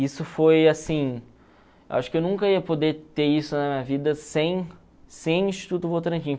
Isso foi, assim, acho que eu nunca ia poder ter isso na minha vida sem sem o Instituto Votorantim.